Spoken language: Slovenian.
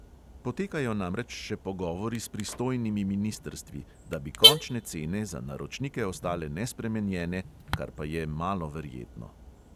Potekajo namreč še pogovori s pristojnimi ministrstvi, da bi končne cene za naročnike ostale nespremenjene – kar pa je malo verjetno.